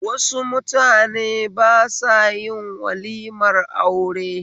Waɗansu mutane ba sayin walimar aure